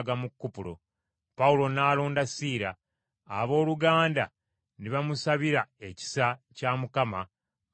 Pawulo n’alonda Siira, abooluganda ne bamusabira ekisa kya Mukama mu lugendo lwe.